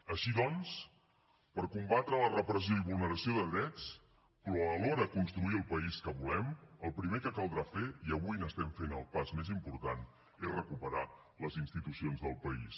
així doncs per combatre la repressió i vulneració de drets però alhora construir el país que volem el primer que caldrà fer i avui n’estem fent el pas més important és recuperar els institucions del país